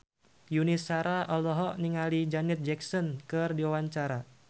Yuni Shara olohok ningali Janet Jackson keur diwawancara